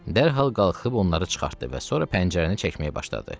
Dərhal qalxıb onları çıxartdı və sonra pəncərəni çəkməyə başladı.